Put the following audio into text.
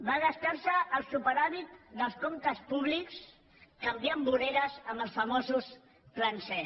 va gastar se el superàvit dels comptes públics canviant voreres amb els famosos plans e